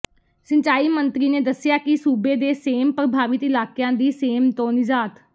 ਸਿੰਚਾਈ ਮੰਤਰੀ ਨੇ ਦੱਸਿਆ ਕਿ ਸੂਬੇ ਦੇ ਸੇਮ ਪ੍ਰਭਾਵਿਤ ਇਲਾਕਿਆਂ ਦੀ ਸੇਮ ਤੋਂ ਨਿਜਾਤ